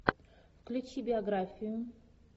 включи биографию